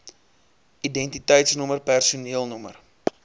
identiteitsnommer personeel nr